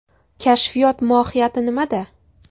Kashfiyot mohiyati nimada ?